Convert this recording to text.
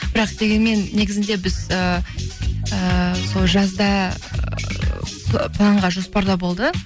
бірақ дегенмен негізінде біз ыыы сол жазда планда жоспарда болды